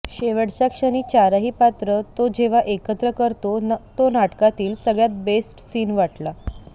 शेवटच्या क्षणी चारही पात्र तो जेव्हा एकत्र करतो तो नाटकातला सगळ्यात बेस्ट सिन वाटला